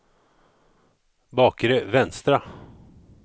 bakre vänstra